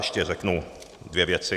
Ještě řeknu dvě věci.